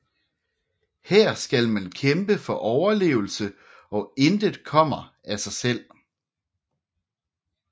Her skal man kæmpe for overlevelse og intet kommer af sig selv